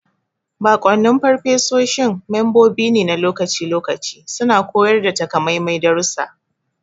Baƙwannin furofesoshi membobi ne na lokaci-lokaci suna koyar da takamaiman darussa.